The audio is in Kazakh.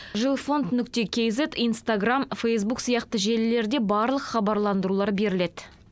жилфонд кизед инстаграмм фэйзбук сияқты желілерде барлық хабарландырулар беріледі